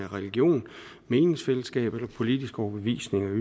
religion et meningsfællesskab eller en politisk overbevisning eller